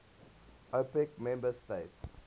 opec member states